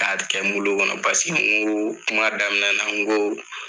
Ka kɛ muli kɔnɔ paseke n ko kuma daminɛ na n ko